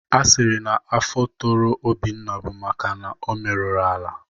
A sịrị na afọ toro Obinna bụ maka o meruru ala.